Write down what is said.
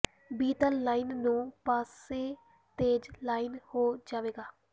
B ਤਲ line ਨੂੰ ਪਾਸੇ ਤੇਜ਼ ਲਾਈਨ ਹੋ ਜਾਵੇਗਾ